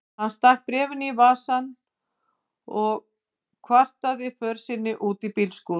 Hann stakk bréfinu í vasann og hvataði för sinni út í bílskúr.